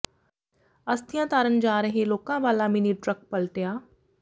ਅਸਥੀਆਂ ਤਾਰਨ ਜਾ ਰਹੇ ਲੋਕਾਂ ਵਾਲਾ ਮਿੰਨੀ ਟਰੱਕ ਪਲਟਿਆ